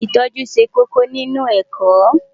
Ìtọ́jú ṣe kókó nínú ẹ̀kọ́.